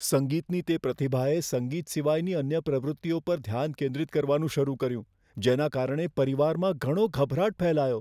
સંગીતની તે પ્રતિભાએ સંગીત સિવાયની અન્ય પ્રવૃત્તિઓ પર ધ્યાન કેન્દ્રિત કરવાનું શરૂ કર્યું જેના કારણે પરિવારમાં ઘણો ગભરાટ ફેલાયો.